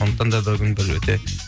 сондықтан да бүгін бір өте